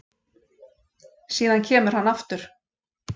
Síðan kemur hann aftur